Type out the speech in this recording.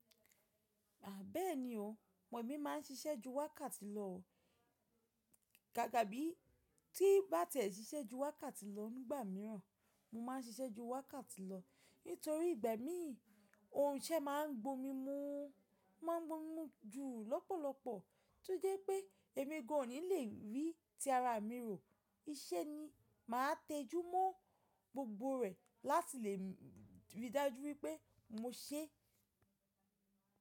À bẹ́ẹ̀ni o, ọ̀ mí ma ń ṣiṣẹ́ ju wákàtì lọ, gàgà bí ti bà tí ẹ ṣiṣẹ́ ju wákàtì lọ nígbà míràn, mó ma ń ṣiṣẹ́ ju wákàtì lọ nítorí ìgbẹ́ mi, ohun ìṣe ma ń gbomimu, ma ń gbomimu ju lọ́pọ̀lọ́pọ̀ tó jẹ́ pé èmi gọ̀ọ̀ní le rí tí ara mi rò, iṣẹ́ ni màá téjúmọ́ gbogbo rẹ̀ láti lè rí dájú wípé mó ṣé.